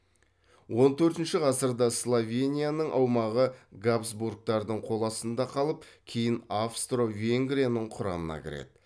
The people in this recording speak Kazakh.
он төртінші ғасырда словенияның аумағы габсбургтардың қол астында қалып кейін австро венгрияның құрамына кіреді